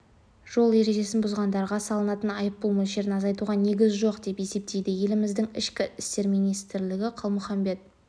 жол ережесін бұзғандарға салынатын айыппұл мөлшерін азайтуға негіз жоқ деп есептейді еліміздің ішкі істер министрі қалмұхамбет